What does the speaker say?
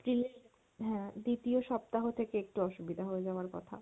April এর, হ্যাঁ দ্বিতীয় সপ্তাহ থেকে একটু অসুবিধা হয়ে যাবার কথা।